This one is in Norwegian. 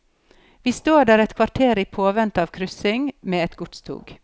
Vi står der et kvarter i påvente av kryssing med et godstog.